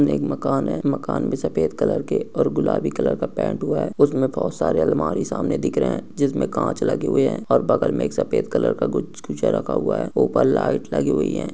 एक मकान है। मकान मे सफेद कलर के और गुलाबी कलर के पेंट हुआ है। उसमे बहुत सारे अलमारी सामने दिख रहे है जिसमे कांच लगे हुए है और बगल मे एक सफेद कलर का रखा हुआ है। ऊपर लाइट लगी हुई है।